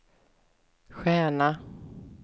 stjärna